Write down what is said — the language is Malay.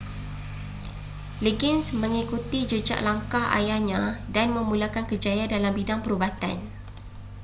liggins mengikuti jejak langkah ayahnya dan memulakan kerjaya dalam bidang perubatan